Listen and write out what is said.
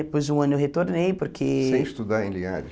Depois de um ano eu retornei, porque... Sem estudar em Linhares?